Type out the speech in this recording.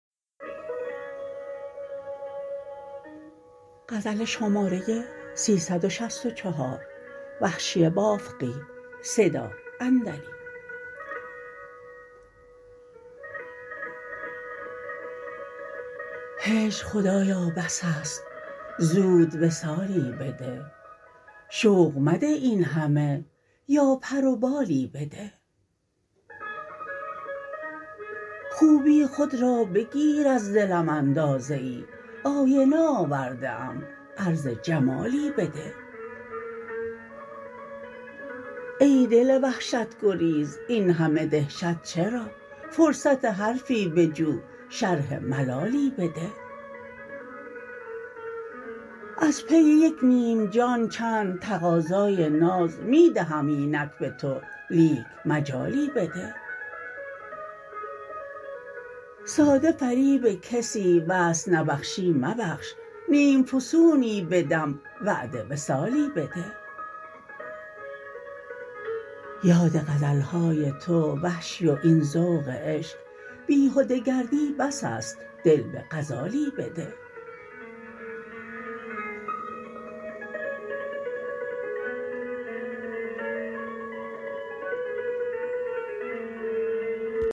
هجر خدایا بس است زود وصالی بده شوق مده اینهمه یا پر و بالی بده خوبی خود را بگیر از دلم اندازه ای آینه آورده ام عرض جمالی بده ای دل وحشت گریز اینهمه دهشت چرا فرصت حرفی بجو شرح ملالی بده از پی یک نیم جان چند تقاضای ناز می دهم اینک به تو لیک مجالی بده ساده فریب کسی وصل نبخشی مبخش نیم فسونی بدم وعده وصالی بده یاد غزلهای تو وحشی و این ذوق عشق بیهده گردی بس است دل به غزالی بده